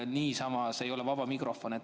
See ei ole vaba mikrofon.